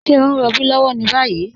Ṣẹ̀ o n rọ̀bí lọ́wọ́ ni bayi?